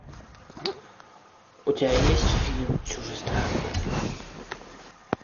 у тебя есть фильм чужестранка